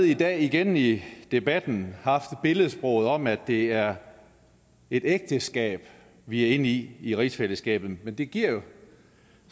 i dag igen i debatten haft billedsproget med at det er et ægteskab vi er inde i i rigsfællesskabet men det giver